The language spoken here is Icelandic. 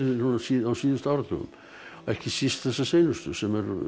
á síðustu áratugum ekki síst þessa seinustu sem